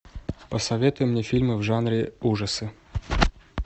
посоветуй мне фильмы в жанре ужасы